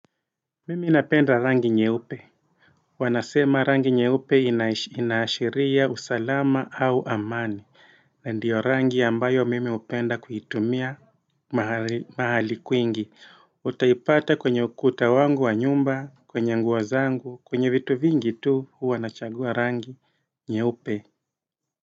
Mimi napenda rangi nyeupe Wanasema rangi nyeupe inaashiria usalama au amani na ndiyo rangi ambayo mimi upenda kuitumia mahali kwingi Utaipata kwenye ukuta wangu wa nyumba, kwenye nguo zangu, kwenye vitu vingi tu huwa nachagua rangi nyeupe.